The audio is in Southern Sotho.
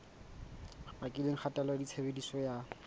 bakileng kgatello ya tshebediso ya